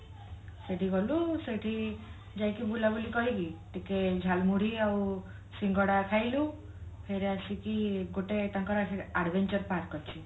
ସେଠି ଗଲୁ ସେଠି ଯାଇକି ବୁଲା ବୁଲି କରିକି ଟିକେ ଝାଲମୁଢି ଆଉ ସିଙ୍ଗଡ଼ା ଖାଇଲୁ ଫେର ଆସିକି ଗୋଟେ ତାଙ୍କର adventure park ଅଛି